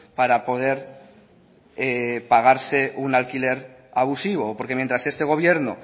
para poder pagarse un alquiler abusivo porque mientras este gobierno